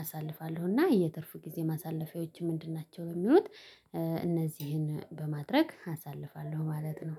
አሳልፋለሁ እና የትርፍ ጊዜ ማሳለፊያዎች ምንድን ናቸው የሚሉት እነዚህን በማድረግ አሳልፋለሁ ማለት ነው።